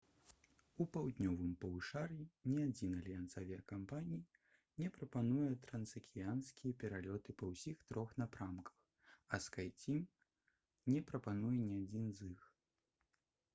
у паўднёвым паўшар'і ні адзін альянс авіякампаній не прапануе трансакіянскія пералёты па ўсіх трох напрамках а «скайцім» не прапануе ні адзін з іх